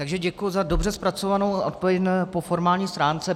Takže děkuji za dobře zpracovanou odpověď po formální stránce.